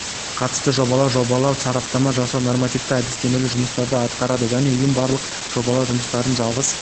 қатысты жобалау жобалау сараптама жасау нормативті әдістемелік жұмыстарды атқарады жаңа ұйым барлық жобалау жұмыстарының жалғыз